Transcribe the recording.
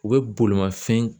U bɛ bolimafɛn